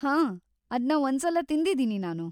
ಹಾಂ, ಅದ್ನ ಒಂದ್ಸಲ ತಿಂದಿದೀನಿ ನಾನು.